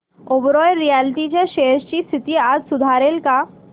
Oberoi realty च्या shares ची स्थिती आज सुधारेल का